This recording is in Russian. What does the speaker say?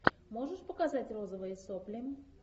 можешь показать розовые сопли